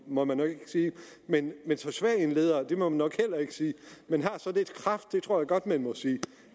må man nok ikke sige men så svag en leder det må man nok heller ikke sige men har så lidt kraft det tror jeg godt man må sige